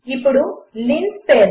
ఇప్పుడు లిన్స్పేస్